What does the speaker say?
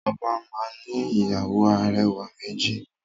Oba náà ni ìyàwó arẹwà méjì.